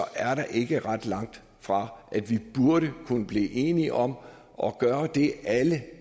er det ikke ret langt fra at vi burde kunne blive enige om at gøre det alle